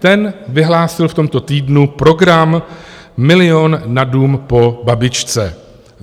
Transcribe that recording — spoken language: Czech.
Ten vyhlásil v tomto týdnu program "milion a dům po babičce".